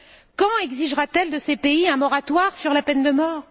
Quand exigera t elle de ces pays un moratoire sur la peine de mort?